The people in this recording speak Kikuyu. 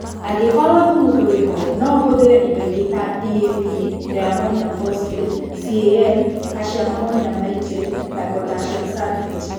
Angĩkorũo thũmu ndũrĩ ho, no ũhũthĩre indo ingĩ ta DAP (Diammonium Phosphate), CAN (calcium ammonium nitrate na potassium sulphate.